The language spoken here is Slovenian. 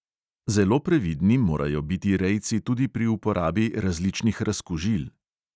Zelo previdni morajo biti rejci tudi pri uporabi različnih razkužil.